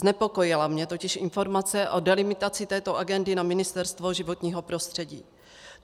Znepokojila mě totiž informace o delimitaci této agendy na Ministerstvo životního prostředí.